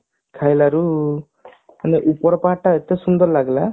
ଖାଇଲାରୁ ମୁଁ ହେଲେ ଉପର part ଟା ଏତେ ସୁନ୍ଦର ଲାଗିଲା